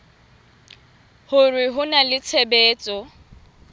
hore ho na le tshebetso